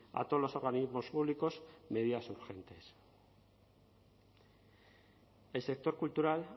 a todos los organismos públicos medidas urgentes el sector cultural